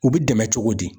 U bi dɛmɛ cogo di